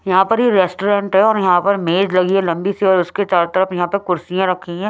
यहां पर ये रेस्टोरेंट है और यहां पर मेज लगी है लंबी सी और उसके चारों तरफ यहां पर कुर्सियां रखी है।